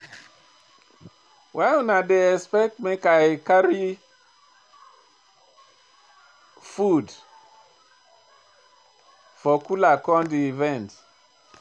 Why una dey expect make I carry food for cooler come di event?